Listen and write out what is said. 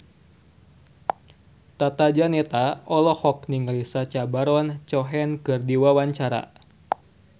Tata Janeta olohok ningali Sacha Baron Cohen keur diwawancara